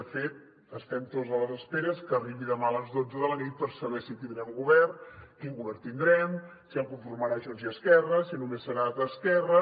de fet estem tots a l’espera que arribi demà a les dotze de la nit per saber si tindrem govern quin govern tindrem si el conformaran junts i esquerra si només serà d’esquerra